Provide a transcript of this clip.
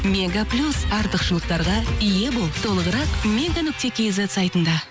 мега плюс артықшылықтарға ие бол толығырық мега нүкте кизет сайтында